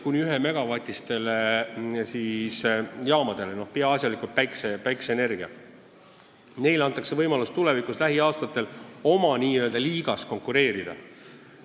Kuni 1-megavatistele jaamadele – peaasjalikult on tegu päikseenergiaga – antakse lähiaastatel võimalus oma nn liigas konkureerida.